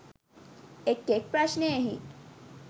එක් එක් ප්‍රශ්නයෙහි